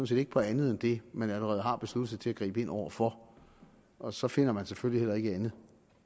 set ikke på andet det man allerede har besluttet sig til at gribe ind over for og så finder man selvfølgelig heller ikke andet